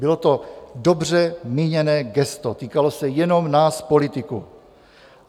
Bylo to dobře míněné gesto, týkalo se jenom nás politiků.